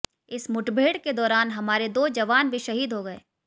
इस मुठभेड़ के दौरान हमारे दो जवान भी शहीद हो गए